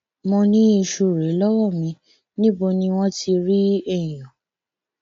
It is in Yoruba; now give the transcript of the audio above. mo ní iṣu rèé lọwọ mi níbo ni wọn ti rẹẹyàn